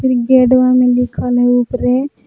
गेटवा में लिखल हई उपरे --